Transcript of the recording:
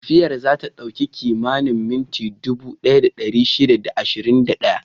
Tafiyar za ta ɗauki kimanin minti dubu ɗaya da ɗari shida da ashirin da ɗaya.